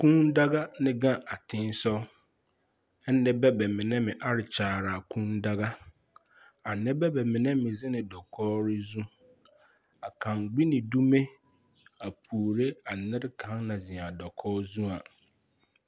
Kűűdaga ne gaŋ a tensoge a nebɛ mine are kyaare a kűűdaga a nebɛ mine me zeŋ dakogri zu a gaŋ gbi ne dume a puore a nerikaŋ naŋ zeŋ a dakogi zu a